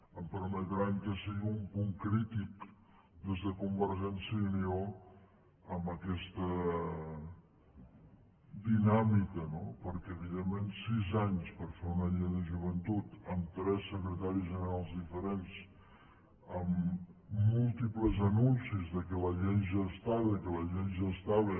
em permetran que sigui un punt crític des de convergència i unió amb aquesta dinàmica no perquè evidentment sis anys per fer una llei de joventut amb tres secretaris generals diferents amb múltiples anuncis que la llei ja estava que la llei ja estava